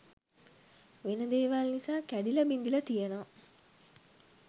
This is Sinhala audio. වෙන දේවල් නිසා කැඩිල බිඳිල තියෙනවා.